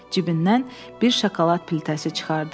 Cibindən bir şokolad piltəsi çıxardı.